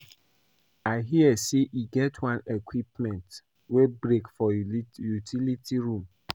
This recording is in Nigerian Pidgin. I hear say e get one equipment wey break for utility room